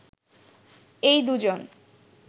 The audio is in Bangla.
এই দু'জন